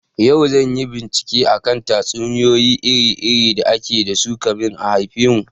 Yau zanyi bincike akan tatsuniyoyi iri iri da ake dasu kamin a haifemu